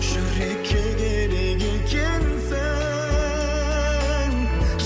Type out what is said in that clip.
жүрекке керек екенсің